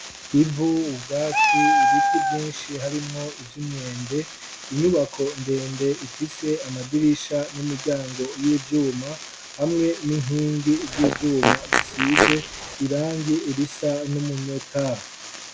Ivu ubwatsi ibiti byinshi harimwo ivy'umyembe inyubako ndende ifise amadirisha n'imiryango y'ibyuma hamwe n'inkingi z'ibyuma zisize irangi irisa n'umunyota.